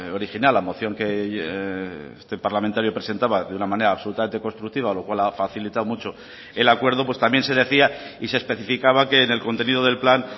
original la moción que este parlamentario presentaba de una manera absolutamente constructiva lo cual ha facilitado mucho el acuerdo pues también se decía y se especificaba que en el contenido del plan